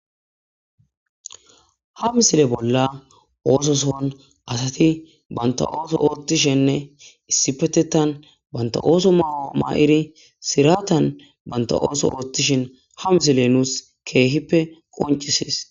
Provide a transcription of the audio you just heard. Ha misile bolla ososon asati banta ooso othishne issipetetan banta ooso mayo mayidi siraten banta ooso othishn ha misiley nuusi keehippe qoncisesi.